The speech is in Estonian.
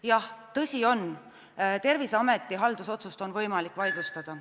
Jah, on tõsi, et Terviseameti haldusotsust on võimalik vaidlustada.